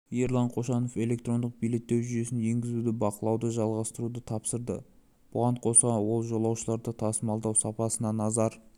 ерлан қошанов электрондық билеттеу жүйесін енгізуді бақылауды жалғастыруды тапсырды бұған қоса ол жолаушыларды тасымалдау сапасына назар